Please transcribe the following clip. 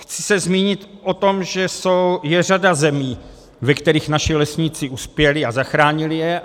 Chci se zmínit o tom, že je řada zemí, ve kterých naši lesníci uspěli a zachránili je.